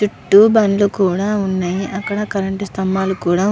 చుట్టూ బండ్లు కూడా ఉన్నాయి అక్కడ కరెంట్ సంభం కూడా --